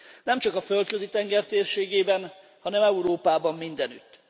Nemcsak a Földközi tenger térségében, hanem Európában mindenütt.